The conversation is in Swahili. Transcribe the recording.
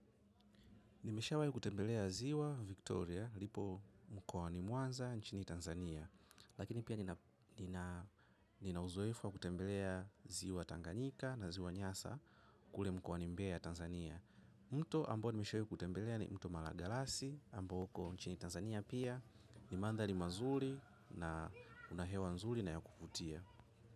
Nimesha wai kutembelea ziwa Victoria, lipo mkoani Mwanza, nchini Tanzania. Lakini pia nina uzoefu wa kutembelea ziwa Tanganyika na ziwa Nyasa, kule mkoani Mbea ya Tanzania. Mto ambao nimewai kutembelea ni mto malagalasi ambao uko nchini tanzania pia ni mandhali mazuli pia kuna hewa nzuli na ya kuvutia.